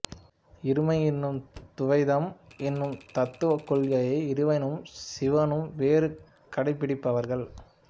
இருமை எனும் துவைதம் எனும் தத்துவக் கொள்கையை இறைவனும் சீவனும் வேறு கடைப்பிடிப்பவர்கள்